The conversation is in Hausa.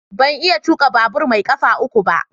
Ban iya tuka babur mai kafa uku ba.